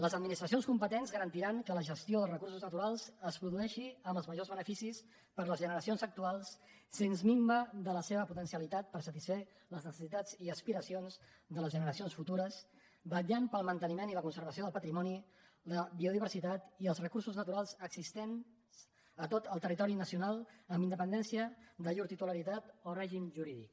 les administracions competents garantiran que la gestió dels recursos naturals es produeixi amb els majors beneficis per a les generacions actuals sense minva de la seva potencialitat per a satisfer les necessitats i aspiracions de les generacions futures vetllant pel manteniment i la conservació del patrimoni la biodiversitat i els recursos naturals existents a tot el territori nacional amb independència de llur titularitat o règim jurídic